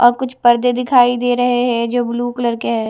और कुछ पर्दे दिखाई दे रहे है जो ब्ल्यू कलर के है।